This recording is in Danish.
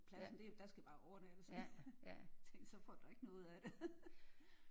Pladsen det der skal bare overnattes. Jeg tænkte så får du da ikke noget ud af det